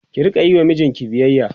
ki Rika Yi wa mijinki biyayya